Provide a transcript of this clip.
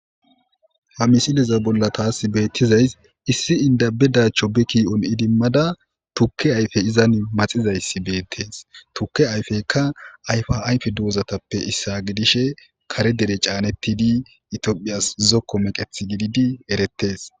Hamisillezza bolla tas betizzay issi indda bedacho idomadda tukke ayffe maxxisayssi bettetes tukke ayffeykka karre dozattappe issa gidishin karre gadde canettidi etophiyas zokko meqqethi gididi erettes.